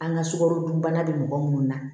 An ka sukarodunbana bɛ mɔgɔ minnu na